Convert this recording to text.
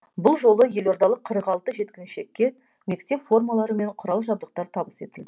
бұл жолы елордалық қырық алты жеткіншекке мектеп формалары мен құрал жабдықтар табыс етілді